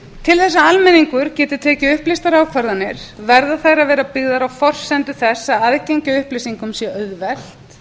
þess að almenningur geti tekið upplýstar ákvarðanir verða þær að vera byggðar á forsendu þess að aðgengi að upplýsingum sé auðvelt